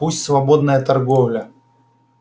пусть свободная торговля